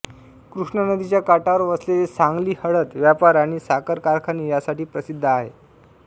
कृष्णा नदीच्या काठावर वसलेले सांगली हळद व्यापार आणि साखर कारखाने यासाठी प्रसिद्ध आहे